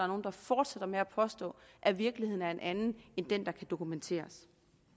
nogle der fortsætter med at påstå at virkeligheden er en anden end den der kan dokumenteres